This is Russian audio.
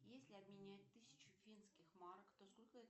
если обменять тысячу финских марок то сколько это